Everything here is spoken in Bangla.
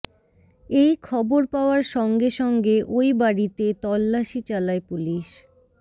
এই খবর পাওয়ার সঙ্গে সঙ্গে ওই বাড়িতে তল্লাশি চালায় পুলিশ